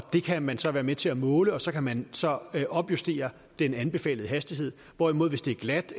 kan man så være med til at måle og så kan man så opjustere den anbefalede hastighed hvorimod hvis det er glat